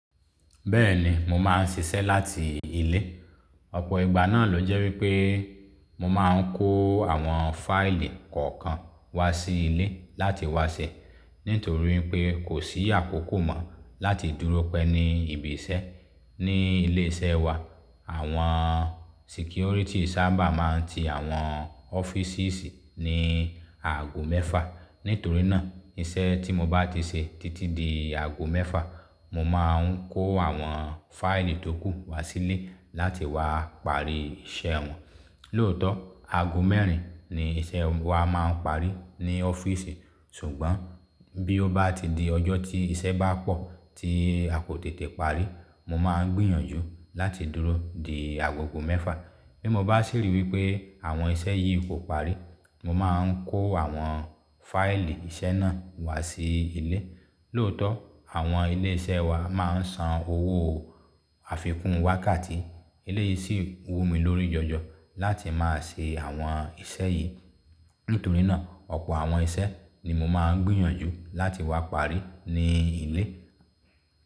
Bẹ́ẹ̀ni mo máa ń ṣiṣẹ́ láti ilé. Ọ̀pọ̀ ìgbà náà ló jẹ́ wípé mo máa ń kó àwọn fáìlì kọ̀ọ̀kan wá sí ilé láti wá ṣe. Nítorí pé kò sí àkókò mọ́ láti dúró pẹ́ ní ibi iṣẹ́. Ni ilé iṣẹ́ wa àwọn sikiorìtì sábà máa ń ti àwọn ọ́fíìsìsi ní aago mẹ́fà. Nítorí náà iṣẹ́ tí mo bá ti ṣe títí di aago mẹ́fà mo máa ń kó àwọn fáìlì tó kù wá sí ilé láti wá parí iṣẹ́ wọn. Lóòótọ́ aago mẹ́rin ni iṣẹ́ wa máa ń parí ní ọ́fíìsì ṣùgbọ́n bí ó bá ti di ọjọ́ tí iṣẹ́ bá pọ̀ tí a kò tètè parí, mo máa ń gbìyànjú láti dúró di agogo mẹ́fà. Bí mo bá sì ríi wípé àwọn iṣẹ́ yìí kò parí mo máa ń kó àwọn fáìlì iṣẹ́ náà wá sí ilé. Lóòótọ́ àwọn ilé iṣẹ́ wa máa ń san owó àfikún wákàtí eleyìí sì wú mi lórí jọjọ láti máa ṣe àwọn iṣẹ́ yìí. Nítorí náà ọ̀pọ̀ àwọn iṣẹ́ ni mo máa ń gbìyànjú láti wá parí ní ilé.